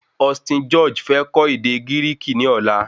Austin George fẹ kọ́ ède Gíríkì ní ọ̀la